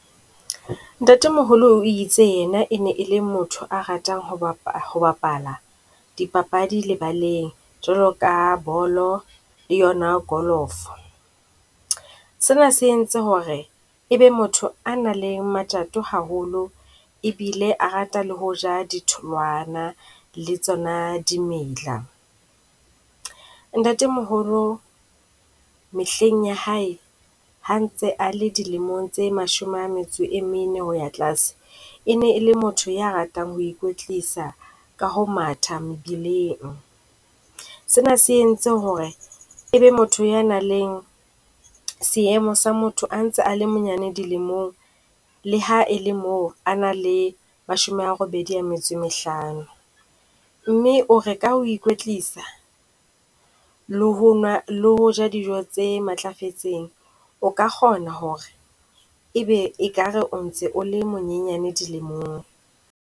Ntatemoholo o itse yena e ne e le motho a ratang ho ho bapala dipapadi lebaleng, jwalo ka bolo le yona golofo. Sena se entse ho re e be motho a nang le matjato haholo e bile a rata le ho ja ditholwana le tsona dimela. Ntatemoholo mehleng ya hae, ha ntse a le dilemong tse mashome a metso e mene ho ya tlase e ne e le motho ya ratang ho ikwetlisa ka ho matha mebileng. Sena se entse ho re e be motho ya nang le seemo sa motho a ntse a le monyane dilemong, le ha e le moo a nang le mashome a robedi a metso e mehlano. Mme o re ka ho ikwetlisa, le ho nwa, le ho ja dijo tse matlafetseng o ka kgona ho re e be ekare o ntse o le monyenyane dilemong.